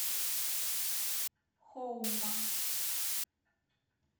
хоума